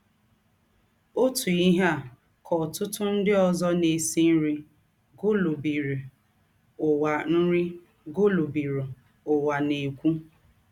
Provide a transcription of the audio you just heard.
Ǒtú ìhè à kà ọ̀tụ̀tụ̀ ńdị òzò na - èsí nri gụ̀lù̄bìrù Ǔwà nri gụ̀lù̄bìrù Ǔwà na - èkwú.